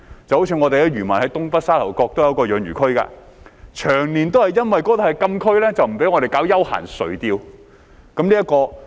舉例來說，我們的漁民在東北沙頭角也有一個養魚區，長年就因為那裏是禁區而不獲准搞休閒垂釣活動。